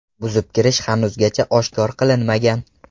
Buzib kirish hanuzgacha oshkor qilinmagan.